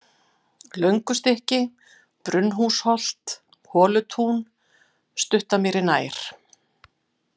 Löngustykki, Brunnhúsholt, Holutún, Stuttamýri nær